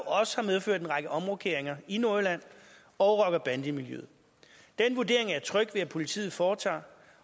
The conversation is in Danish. også har medført en række omrokeringer i nordjylland og rocker bande miljøet den vurdering er jeg tryg ved at politiet foretager